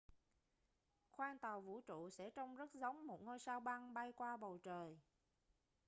khoang tàu vũ trụ sẽ trông rất giống một ngôi sao băng bay qua bầu trời